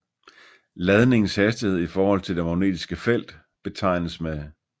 Ladningens hastighed i forhold til det magnetiske felt betegnes med